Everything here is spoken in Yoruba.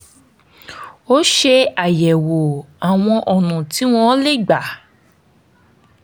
ó ṣàyẹ̀wò àwọn ọ̀nà tí wọ́n lè gbà